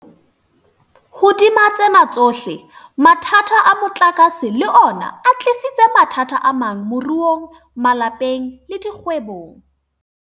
Hodima tsena tsohle, mathata a motlakase le ona a tlisitse mathata amang moruong, malapeng le dikgwebong.